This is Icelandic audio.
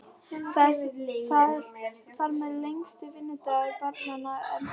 Þar með lengist vinnudagur barnanna enn frekar.